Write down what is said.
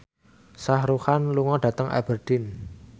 Shah Rukh Khan lunga dhateng Aberdeen